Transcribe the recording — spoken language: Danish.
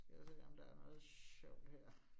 Skal jeg se, om der er noget sjovt her